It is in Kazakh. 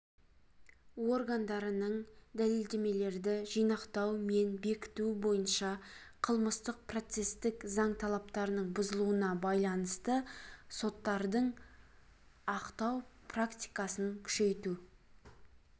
органдарының дәлелдемелерді жинақтау мен бекіту бойынша қылмыстық-процестік заң талаптарының бұзылуына байланысты соттардың ақтау практикасын күшейту